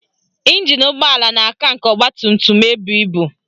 Ịnjin ụgbọala na-aka nke ọgbatumtum ebu ibu